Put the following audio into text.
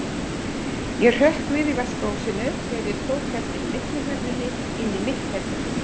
Ég hrökk við í vaskahúsinu þegar ég tók eftir millihurðinni inn í mitt herbergi.